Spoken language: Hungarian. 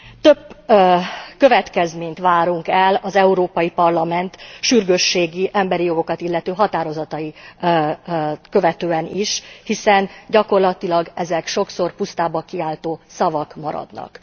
Több következményt várunk el az Európai Parlament sürgősségi emberi jogokat illető határozatait követően is, hiszen gyakorlatilag ezek sokszor pusztába kiáltó szavak maradnak.